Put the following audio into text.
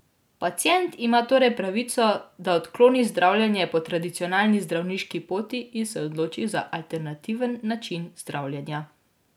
Pacient ima torej pravico, da odkloni zdravljenje po tradicionalni zdravniški poti in se odloči za alternativen način zdravljenja.